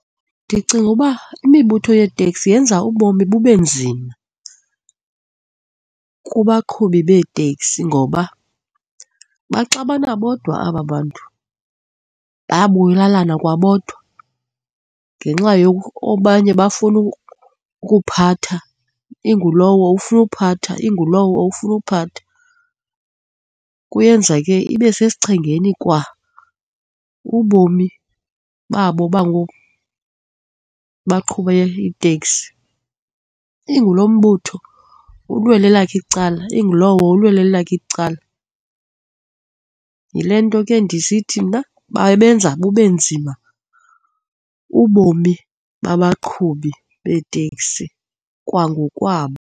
Ndicinga uba imibutho yeetekisi yenza ubomi bube nzima kubaqhubi beeteksi ngoba baxabana bodwa aba bantu, bayabulalana, kwabodwa ngenxa abanye bafuna ukuphatha, ingulowo ufuna uphatha, ingulowo ufuna uphatha. Kuyenza ke ibe sesichengeni kwa ubomi babo baqhube iiteksi, inguloo mbutho ulwela elakhe icala, ingulowo ulwelo elakhe icala. Yile nto ke ndisithi mna babenza bube nzima ubomi babaqhubi beeteksi kwangokwabo.